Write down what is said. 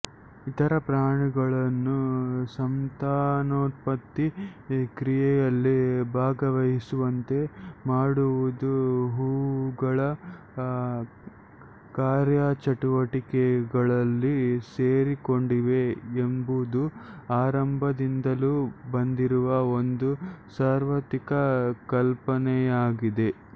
ಇತರ ಪ್ರಾಣಿಗಳನ್ನು ಸಂತಾನೋತ್ಪತ್ತಿ ಕ್ರಿಯೆಯಲ್ಲಿ ಭಾಗವಹಿಸುವಂತೆ ಮಾಡುವುದೇ ಹೂವುಗಳ ಕಾರ್ಯಚಟುವಟಿಕೆಗಳಲ್ಲಿ ಸೇರಿಕೊಂಡಿವೆ ಎಂಬುದು ಆರಂಭದಿಂದಲೂ ಬಂದಿರುವ ಒಂದು ಸಾರ್ವತ್ರಿಕ ಕಲ್ಪನೆಯಾಗಿದೆ